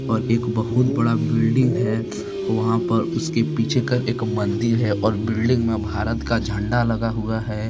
और एक बहुत बड़ा बिल्डिंग है वहां पर उसके पीछे कर एक मंदिर है और बिल्डिंग में भारत का झंडा लगा हुआ है।